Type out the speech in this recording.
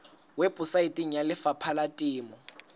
weposaeteng ya lefapha la temo